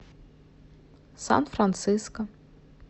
сан франциско